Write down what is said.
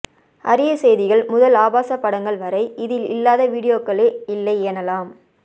அரிய செய்திகள் முதல் ஆபாச படங்கள் வரை இதில் இல்லாத வீடியோக்களே இல்லை எனலாம்